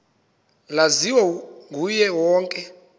laziwa nguye wonke